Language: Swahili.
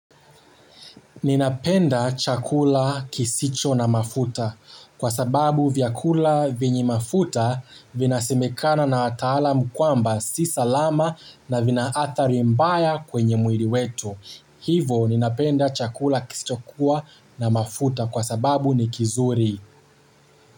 Ninapenda chakula kisicho na mafuta kwa sababu vyakula vyenye mafuta vinasemekana na wataalam kwamba si salama na vina athari mbaya kwenye mwili wetu. Hivo ninapenda chakula kisicho kuwa na mafuta kwa sababu ni kizuri.